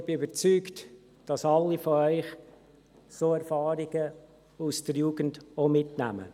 Ich bin überzeugt, dass alle von Ihnen auch solche Erfahrungen aus der Jugend mitnehmen.